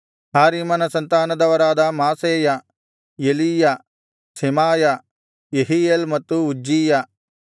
ಹಾರೀಮನ ಸಂತಾನದವರಾದ Maaseiah Elijah Shemaiah Jehiel ಮತ್ತು ಉಜ್ಜೀಯ